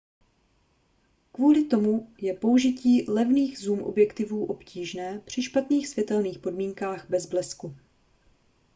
kvůli tomu je použití levných zoom objektivů obtížné při špatných světelných podmínkách bez blesku